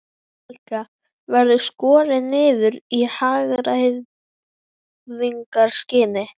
Helga: Verður skorið niður í hagræðingarskyni?